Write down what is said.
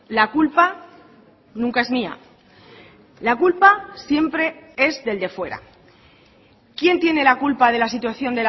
la culpa nunca es mía la culpa siempre es del de fuera quién tiene la culpa de la situación